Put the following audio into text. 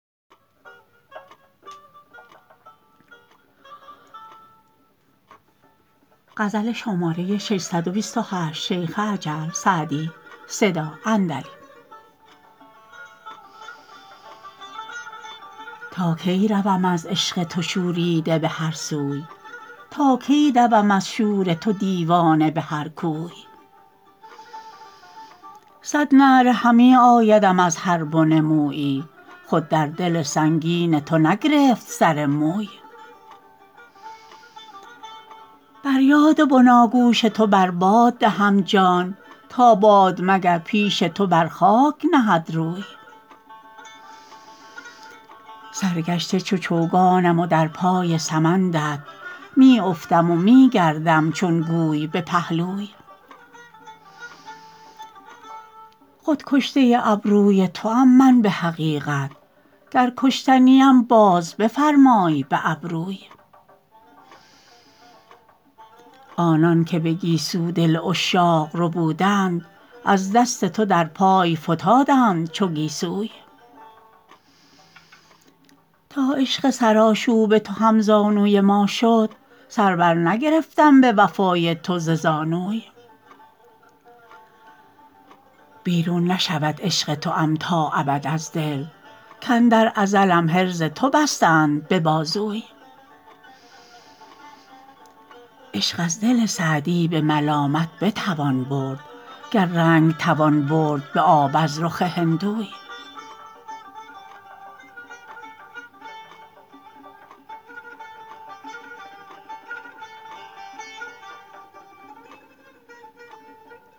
تا کی روم از عشق تو شوریده به هر سوی تا کی دوم از شور تو دیوانه به هر کوی صد نعره همی آیدم از هر بن مویی خود در دل سنگین تو نگرفت سر موی بر یاد بناگوش تو بر باد دهم جان تا باد مگر پیش تو بر خاک نهد روی سرگشته چو چوگانم و در پای سمندت می افتم و می گردم چون گوی به پهلوی خود کشته ابروی توام من به حقیقت گر کشته نیم باز بفرمای به ابروی آنان که به گیسو دل عشاق ربودند از دست تو در پای فتادند چو گیسوی تا عشق سرآشوب تو هم زانوی ما شد سر بر نگرفتم به وفای تو ز زانوی بیرون نشود عشق توام تا ابد از دل کاندر ازلم حرز تو بستند به بازوی عشق از دل سعدی به ملامت بتوان برد گر رنگ توان برد به آب از رخ هندوی